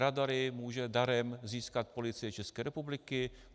Radary může darem získat Policie České republiky.